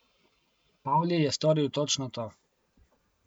Pavli je storil točno to.